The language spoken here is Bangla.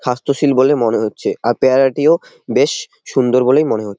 সাস্থ্যশীল বলে মনে হচ্ছে। আর পেয়ারাটিও বেশ সুন্দর বলেই মনে হ--